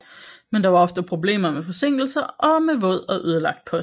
Men der var ofte problemer med forsinkelser og med våd og ødelagt post